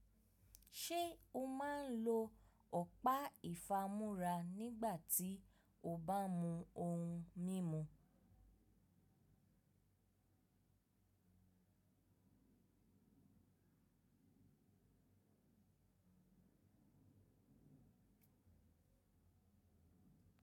Ṣé o máa ń lo ọ̀pá ìfamúra nígbà tí o bá mún ohun mímu?